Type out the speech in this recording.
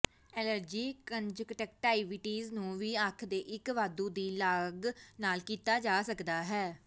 allergy conjunctivitis ਨੂੰ ਵੀ ਅੱਖ ਦੇ ਇੱਕ ਵਾਧੂ ਦੀ ਲਾਗ ਨਾਲ ਕੀਤਾ ਜਾ ਸਕਦਾ ਹੈ